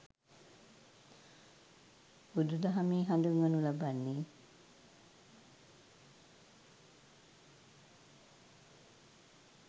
බුදුදහමෙහි හඳුන්වනු ලබන්නේ